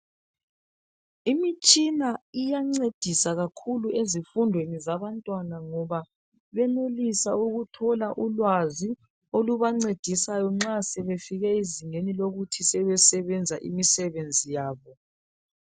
Imitshina iyangcedisa kakhulu ezifundweni zabantwana ngoba benelisa ukuthola ulwazi olubancedisayo nxa sebefike ezingeni lokuthi sebesebenza imisebenzi yabo ukuthola ulwazi olubancedisayo nxa sebe fike ezingeni lokuthi sebesebenza imisebenzi yemisebenzi yabo .